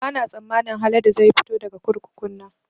Ba na tsammanin Haladu zai fito daga kurkukun nan